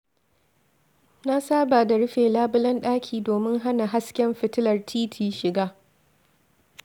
Na saba da rufe labulen ɗaki domin hana hasken fitilar titi shiga.